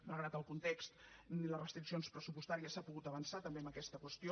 malgrat el context i les restriccions pressupostàries s’ha pogut avançar també en aquesta qüestió